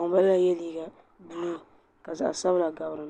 ŋun balala ye liiga buluu ka zaɣa sabila gabi.